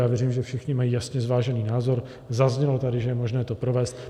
Já věřím, že všichni mají jasně zvážený názor, zaznělo tady, že je možné to provést.